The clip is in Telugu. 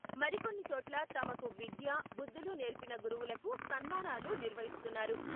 మరికొన్ని చోట్ల తమకు విద్యా, బుద్ధులు నేర్పిన గురువులకు సన్మానాలు నిర్వహిస్తున్నారు.